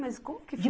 Mas como que foi?